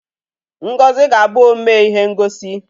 Ngozi ga-abụ omee ihe ngosi.